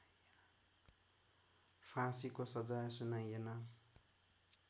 फाँसीको सजाय सुनाइएन